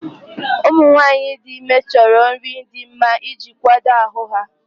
Ụmụ nwanyị dị ime chọrọ nri dị mma iji kwado ahụ ha.